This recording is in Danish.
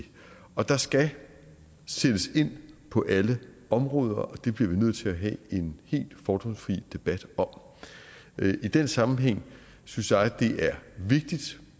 og der skal sættes ind på alle områder og det bliver vi nødt til at have en helt fordomsfri debat om i den sammenhæng synes jeg det er vigtigt